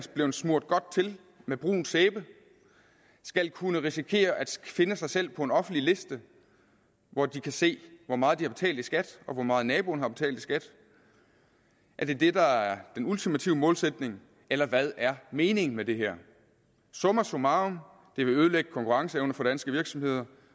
blevet smurt godt til med brun sæbe skal kunne risikere at finde sig selv på en offentlig liste hvor de kan se hvor meget de har betalt i skat og hvor meget naboen har betalt i skat er det det der er den ultimative målsætning eller hvad er meningen med det her summa summarum det vil ødelægge konkurrenceevnen for danske virksomheder